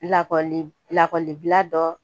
Lakɔli lakɔlibila dɔ